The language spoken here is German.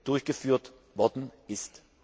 durchgeführt worden ist.